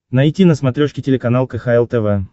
найти на смотрешке телеканал кхл тв